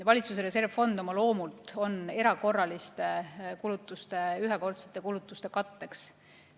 Valitsuse reservfond oma loomult on erakorraliste, ühekordsete kulutuste katteks.